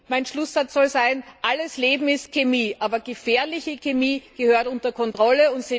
Mein Schlusssatz soll sein Alles Leben ist Chemie, aber gefährliche Chemie gehört unter Kontrolle.